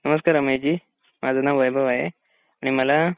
नमस्ते रामैयाजी माझं नाम वैभव आहे आणि मला